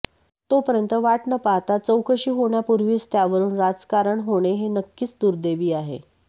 तोपर्यंत वाट न पाहता चौकशी होण्यापूर्वीच त्यावरून राजकारण होणे हे नक्कीच दुर्दैवी आहे